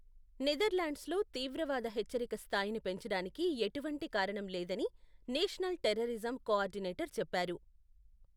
నెదర్లాండ్స్లో తీవ్రవాద హెచ్చరిక స్థాయిని పెంచడానికి ఎటువంటి కారణం లేదని నేషనల్ టెర్రరిజం కోఆర్డినేటర్ చెప్పారు.